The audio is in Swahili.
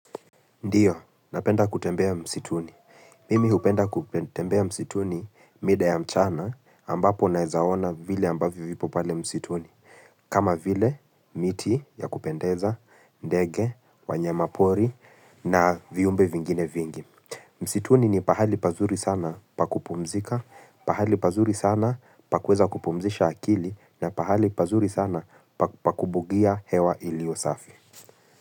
Ndio, napenda kutembea msituni. Mimi hupenda kutembea msituni mida ya mchana ambapo naweza ona vile ambavyo vipo pale msituni. Kama vile, miti ya kupendeza, ndege, wanyamapori na viumbe vingine vingi. Msituni ni pahali pazuri sana pa kupumzika, pahali pazuri sana pa kueza kupumzisha akili na pahali pazuri sana pa kubugia hewa iliyo safi.